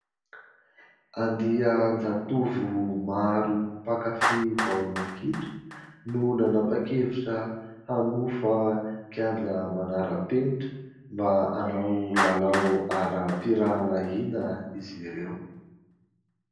Andian-jatovo maro mpakafia baolina kitra no nanapa-kevitra hanofa kianja manara-penitra mba hanao lalao ara-piralahiana izy ireo.